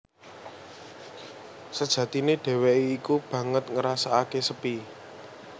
Sejatine dhéwéké iku banget ngrasakaké sepi